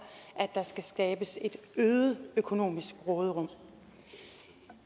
at der skal skabes et øget økonomisk råderum